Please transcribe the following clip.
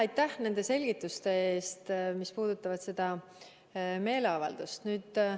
Aitäh nende selgituste eest, mis puudutavad seda meeleavaldust!